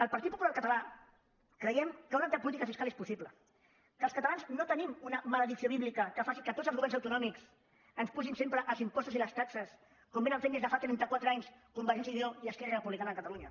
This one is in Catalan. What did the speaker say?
el partit popular català creiem que una altra política fiscal és possible que els catalans no tenim una maledicció bíblica que faci que tots els governs autonòmics ens apugin sempre els impostos i les taxes com fan des de fa trenta quatre anys convergència i unió i esquerra republicana de catalunya